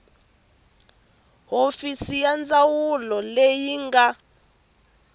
hofisi ya ndzawulo leyi nga